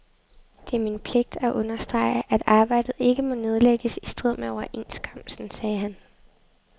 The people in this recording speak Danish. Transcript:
Det er min pligt at understrege, at arbejdet ikke må nedlægges i strid med overenskomsten, sagde han.